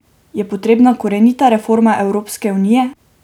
Je potrebna korenita reforma Evropske unije?